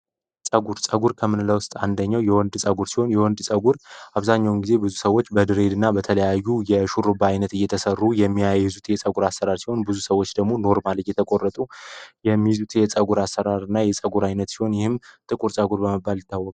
ፀጉር ፀጉር ከምንለው ውስጥ አንደኛው የወንድ ፀጉር ሲሆን የወንድ ጸጉር አብዛኛውን ጊዜ ብዙ ሰዎች በድሬድና በተለያዩ የሹሩባ ባይነት እየተሰሩ የሚያዩዙት የፀጉር አሰራር ብዙ ሰዎች ደግሞ ኖርማሊ እየተቆረጡ የፀጉር አሰራርና የፀጉር አይነት ሲሆን ይህም ጥቁር ፀጉር ይታወል